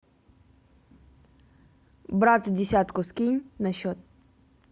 брату десятку скинь на счет